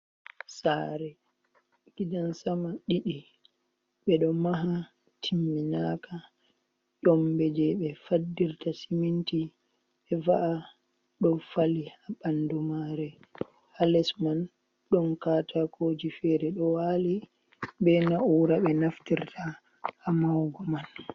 Saare gidan sama ɗiɗi 2, ɓe ɗo maha timminaaka. Ƴommbe jey ɓe faddirta siminti be va’a ɗo fali haa ɓanndu maare, haa les man ɗon kaataakioji feere ɗo waali, be naa`uura ɓe naftirta haa mahugo man.